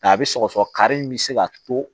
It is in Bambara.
Nka a bɛ sɔgɔsɔgɔ kari in bɛ se ka to